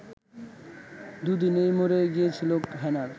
দু’দিনেই মরে গিয়েছিল হেনার